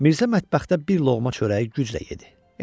Mirzə mətbəxdə bir loğma çörəyi güclə yedi.